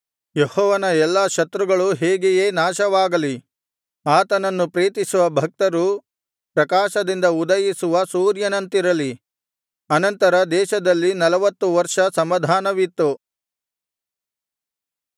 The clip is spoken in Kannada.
ಯೆಹೋವನ ಎಲ್ಲಾ ಶತ್ರುಗಳೂ ಹೀಗೆಯೇ ನಾಶವಾಗಲಿ ಆತನನ್ನು ಪ್ರೀತಿಸುವ ಭಕ್ತರು ಪ್ರಕಾಶದಿಂದ ಉದಯಿಸುವ ಸೂರ್ಯನಂತಿರಲಿ ಅನಂತರ ದೇಶದಲ್ಲಿ ನಲವತ್ತು ವರ್ಷ ಸಮಾಧಾನವಿತ್ತು